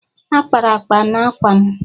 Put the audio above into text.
a kpara akpa n'ákwà m